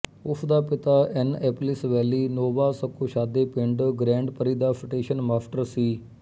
ਉਸ ਦਾ ਪਿਤਾ ਐਨਐਪਲਿਸ ਵੈਲੀ ਨੋਵਾ ਸਕੋਸ਼ਾਦੇ ਪਿੰਡ ਗਰੈੰਡ ਪਰੀ ਦਾ ਸਟੇਸ਼ਨ ਮਾਸਟਰ ਸੀ